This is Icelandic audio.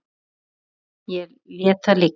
En ég lét það liggja.